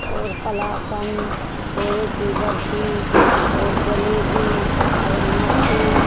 और कलाकंद खोए की बर्फी और जलेबी और इमरती --